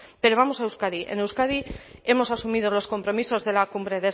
pero vamos a euskadi en euskadi hemos asumido los compromisos de la cumbre